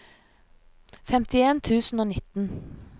femtien tusen og nitten